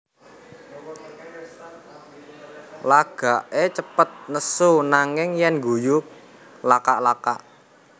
Lagaké cepet nesu nanging yèn ngguyu lakak lakak